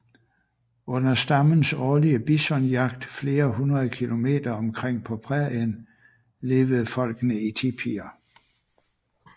Under stammens årlig bisonjagt flere hundrede kilometer omkring på prærien levede folkene i tipier